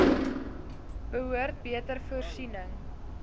behoort beter voorsiening